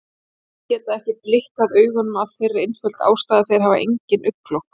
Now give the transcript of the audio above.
Fiskar geta ekki blikkað augunum af þeirri einföldu ástæðu að þeir hafa engin augnlok.